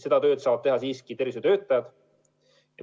Seda tööd saavad teha siiski tervishoiutöötajad.